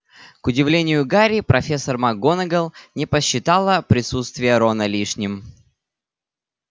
к удивлению гарри профессор макгонагалл не посчитала присутствие рона лишним